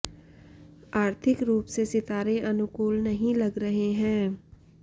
आर्थिक रूप से सितारे अनुकूल नहीं लग रहे हैं